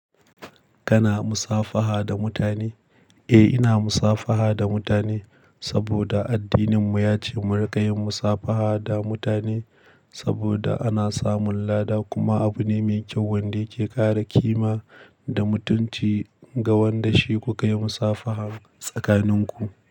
Kana musafaha da mutane? Eh, ina musafaha da mutane saboda addininmu ya ce mu riƙa yin musafaha da mutane saboda ana samun lada. Kuma abu ne mai kyau wanda yake ƙara ƙima da mutunci ga wanda shi kuka yi musafaha tsakaninku.